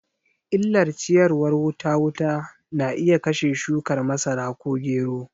Illar ciyawar wuta wuta na iya kashe shukar masara ko gero